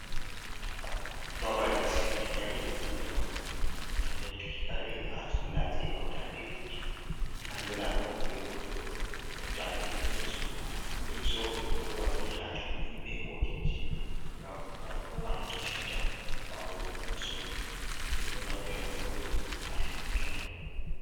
Babal siguki kare je zamanu, ngam rentuki kare ha solla je hautande dotti andira ɗum be waldrop, hautande leso, leso min ɗo waɗa ɗi ha cudi be hotel ji ngam waluki siuta bawo min somi, min do naftira be walduro ha sigki kare.